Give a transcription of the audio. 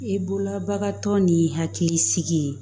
I bolola bagan tɔ ni'i hakili sigi